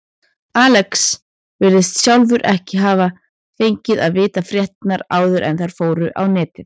Alex virðist sjálfur ekki hafa fengið að vita fréttirnar áður en þær fóru á netið.